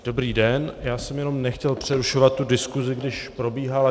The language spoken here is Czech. Dobrý den, já jsem jenom nechtěl přerušovat tu diskusi, když probíhala.